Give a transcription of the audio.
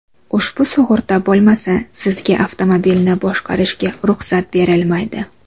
Ushbu sug‘urta bo‘lmasa, Sizga avtomobilni boshqarishga ruxsat berilmaydi.